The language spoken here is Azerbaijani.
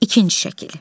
İkinci şəkil.